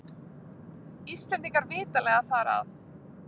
Íslendingar vitanlega þar að.